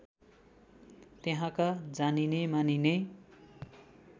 त्यहाँका जानिने मानिने